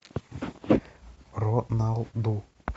роналду